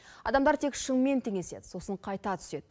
адамдар тек шыңмен теңеседі сосын қайта түседі